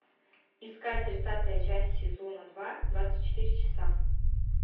искать тридцатая часть сезона два двадцать четыре часа